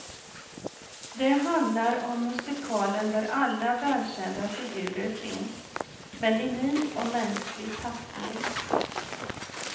Det handlar om musikalen där alla välkända figurer finns, men i ny och mänsklig tappning.